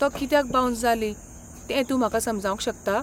तो कित्याक बाऊन्स जाली तें तूं म्हाका समजावंक शकता?